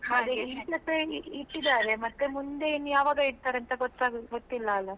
ಗೆ ಇಟ್ಟಿದಾರೆ ಮುಂದೆ ಯಾವಾಗ ಇಡ್ತಾರೆ ಅಂತ ಗೊತ್~ ಗೊತ್ತಿಲ್ಲ ಅಲ್ಲಾ?